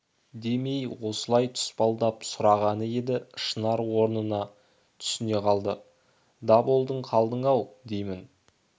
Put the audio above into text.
демей осылай тұспалдап сұрағаны еді шынар онысына түсіне қалды даболдың қалдың-ау деймін